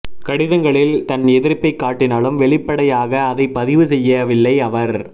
கடிதங்களில் தன் எதிர்ப்பை காட்டினாலும் வெளிப்படையாக அதைப் பதிவு செய்யவில்லை அவர்